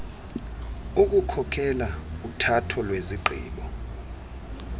ukukhokela uthatho lwezigqibo